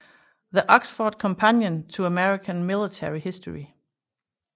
The Oxford Companion to American Military History